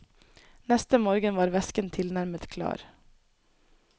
Neste morgen var væsken tilnærmet klar.